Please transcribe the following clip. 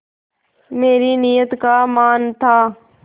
मेरी नीयत का मान था